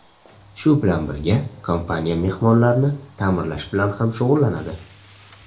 Shu bilan birga, kompaniya mehmonxonalarni ta’mirlash bilan ham shug‘ullanadi.